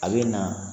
A bɛ na